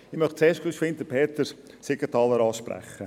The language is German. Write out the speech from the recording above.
Ich möchte zuerst rasch Peter Siegenthaler ansprechen.